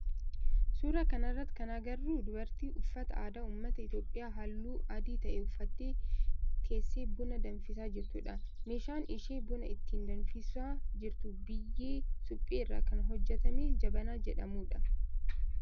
Suuraa kana irratti kan agarru dubartii uffata aadaa ummata Itiyoophiyaa halluu adii ta'e uffattee teessee buna danfisaa jirtudha. Meeshaan isheen buna ittiin danfisaa jirtu biyyee suphee irraa kan hojjetame jabanaa jedhamudha.